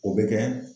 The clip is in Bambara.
O bɛ kɛ